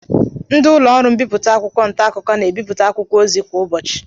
Ndị ụlọọrụ mbipụta akwụkwọ ntaakụkọ na-ebipụta akwụkwọ ozi a kwa ụbọchị